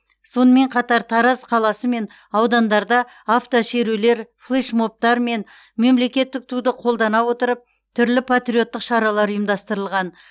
сонымен қатар тараз қаласы мен аудандарда автошерулер флешмобтар мен мемлекеттік туды қолдана отырып түрлі патриоттық шаралар ұйымдастырылған